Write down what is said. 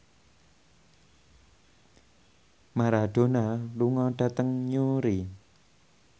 Maradona lunga dhateng Newry